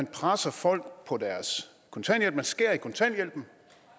presse folk på kontanthjælpen skære i kontanthjælpen